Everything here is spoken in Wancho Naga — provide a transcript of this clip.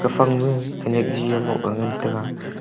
ephang ma khanyak gi moh ngan tega.